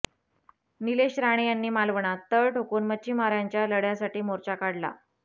नीलेश राणे यांनी मालवणात तळ ठोकून मच्छीमारांच्या लढय़ासाठी मोर्चा काढला